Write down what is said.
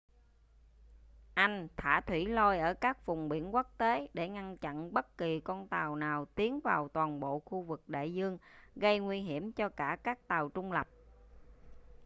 anh thả thủy lôi ở các vùng biển quốc tế để ngăn chặn bất kỳ con tàu nào tiến vào toàn bộ khu vực đại dương gây nguy hiểm cho cả các tàu trung lập